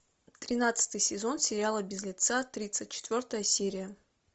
тринадцатый сезон сериала без лица тридцать четвертая серия